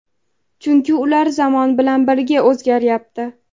Chunki ular ham zamon bilan birga o‘zgaryapti.